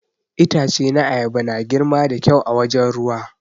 Itace na ayaba na girma da kyau a wajen ruwa.